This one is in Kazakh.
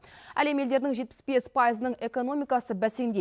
әлем елдерінің жетпіс бес пайызының экономикасы бәсеңдейді